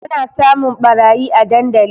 Ana samun ɓarayi a dandali